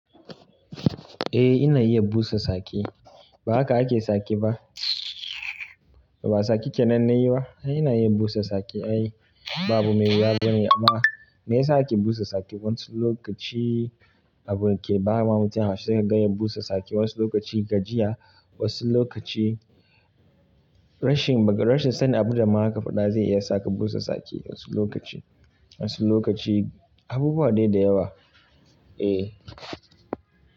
Eh ina iya busa tsaki, ba haka ake tsake ba? To ba tsakii kenan nayi ba? Ai ina iya busa tsaki ai, ba abu me wuya bane amma me yasa ake busa tsaki wasu lokaci abu ke bama mutum haushi sai kaga ya busa tsake, wasu lokaci gajiya, wasu lokaci rashin, rashi sanin abun da ma zaka faɗa zai iya saka busa tsaki wasu lokaci, wasu lokaci abubuwa dai yawa. Eh.